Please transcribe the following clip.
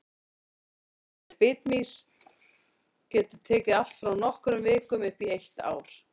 Lífsferill bitmýsins getur tekið allt frá nokkrum vikum upp í eitt ár.